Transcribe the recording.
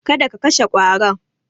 Kada ka kashe ƙwaron.